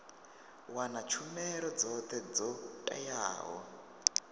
wana tshumelo dzothe dzo teaho